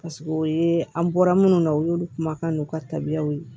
o ye an bɔra minnu na u y'olu kumakan n'u ka tabiyaw ye